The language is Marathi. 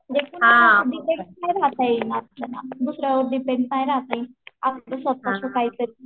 डिपेन्डेड आधीपासून रहाता येईल ना आपल्याला दुसऱ्यावर डिपेन्डेड काय रहाय आपलं स्वतःचं काहीतरी.